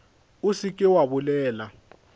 o se ke wa bolela